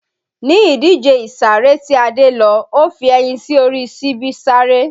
Ní ìdíje ìsáré tí Adé lọ, ó fi ẹyin sí orí síbi sáré